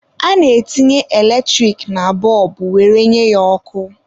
A na-etinye eletrik na bọlbụ were nye ya ọkụ.